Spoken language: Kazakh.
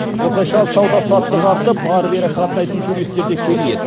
осылайша сауда саттық артып ары бері қатынайтын туристер де көбейеді